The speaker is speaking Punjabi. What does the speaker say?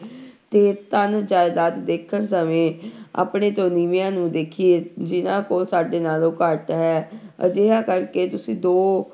ਤੇ ਧਨ ਜ਼ਾਇਦਾਦ ਦੇਖਣ ਸਮੇਂ ਆਪਣੇ ਤੋਂ ਨੀਵਿਆਂ ਨੂੰ ਦੇਖੀਏ ਜਿਹਨਾਂ ਕੋਲ ਸਾਡੇ ਨਾਲੋਂ ਘੱਟ ਹੈ ਅਜਿਹਾ ਕਰਕੇ ਤੁਸੀਂ ਦੋ